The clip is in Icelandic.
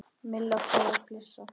Milla fór að flissa.